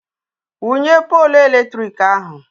Wụnye poolu eletrik ahụ!